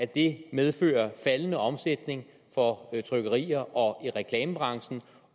det medføre faldende omsætning for trykkerierne og i reklamebranchen